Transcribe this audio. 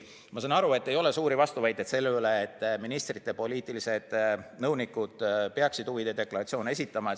Ma saan aru, et ei ole suuri vastuväiteid sellele, et ministrite poliitilised nõunikud peaksid huvide deklaratsioone esitama.